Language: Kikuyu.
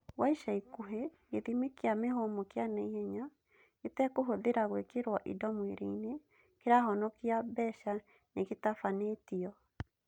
Gwa ica ikuhĩ, gĩthimi kĩa mĩhũmũ kĩa naihenya, gĩtekũhũthĩra gwĩkĩrwo indo mwĩrĩ-inĩ, kĩrahonikia mbeca nĩgĩtabanĩtio